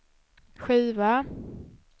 skiva